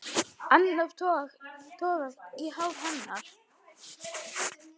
Annar togar í hár hennar.